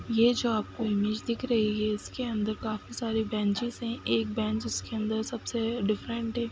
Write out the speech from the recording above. ये जो आपको इमेज दिख रही है इसके अन्दर काफी सारे बेंचेस हैं। एक बेंच इसके अन्दर सबसे डिफरेंट है।